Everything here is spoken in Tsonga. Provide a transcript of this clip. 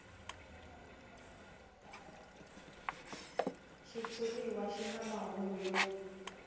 xitshuriwa xi na mahungu yo